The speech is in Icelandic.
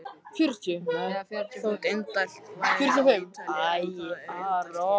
Þótt indælt væri á Ítalíu þá er enn indælla hér.